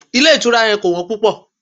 Ilé ìtura yẹn kò wọ́n púpọ̀.